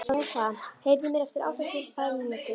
Dorothea, heyrðu í mér eftir áttatíu og tvær mínútur.